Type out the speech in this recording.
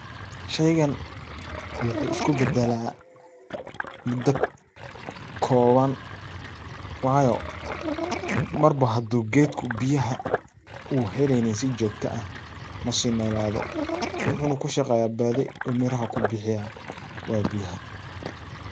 Shaygan waxuu isku badala mudo kooban wayo marba hadu geedka biyaha u heleynin si jogta ah masii noolado waxuu na kushaqeeya badi u miraha ku bixiya waa biyaha.